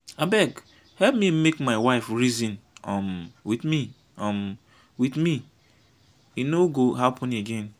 abeg help me make my wife reason um with me um with me e no go happen again.